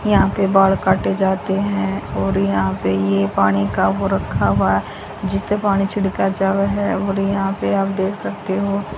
यहां पे बाल काटे जाते हैं और यहां पे ये पानी का वो रखा हुआ है जिससे पानी छिड़का जावे है और यहां पे आप देख सकते हो।